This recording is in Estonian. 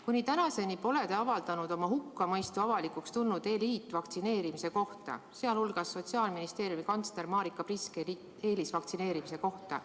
Kuni tänaseni pole te avaldanud oma hukkamõistu avalikuks tulnud eliitvaktsineerimise kohta, sh Sotsiaalministeeriumi kantsler Marika Priske eelisvaktsineerimise kohta.